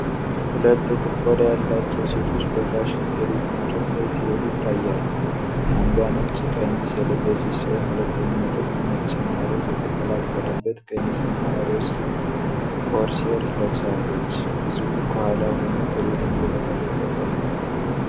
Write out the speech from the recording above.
ሁለት ጥቁር ቆዳ ያላቸው ሴቶች በፋሽን ትርዒት መድረክ ላይ ሲሄዱ ይታያሉ። አንዷ ነጭ ቀሚስ የለበሰች ሲሆን፣ ሁለተኛዋ ደግሞ ነጭና ሮዝ የተቀላቀለበት ቀሚስና ሮዝ ቆርሴር ለብሳለች። ህዝቡ ከኋላ ሆኖ ትርዒቱን እየተመለከተ ነው።